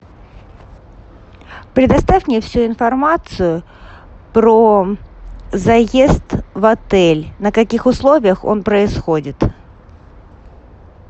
предоставь мне всю информацию про заезд в отель на каких условиях он происходит